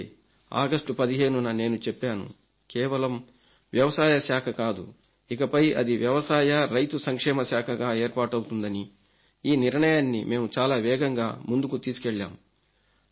అందుకే ఆగస్టు 15న నేను చెప్పాను కేవలం వ్యవసాయ శాఖ కాదు ఇకపై అది వ్యవసాయ రైతు సంక్షేమ శాఖగా ఏర్పాటవుతుందని ఈ నిర్ణయాన్ని మేము చాలా వేగంగా ముందుకు తీసుకెళ్లాం